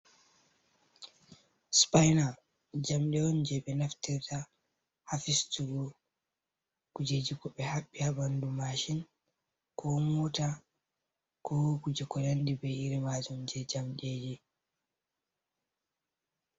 Spina jamɗe on je ɓe naftirta ha fistugo kujeji ko ɓe haɓɓi ha ɓandu mashin, ko mota, ko kuje ko nandi be iri majum je jamɗeji.